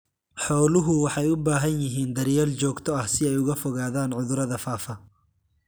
Xooluhu waxay u baahan yihiin daryeel joogto ah si ay uga fogaadaan cudurrada faafa.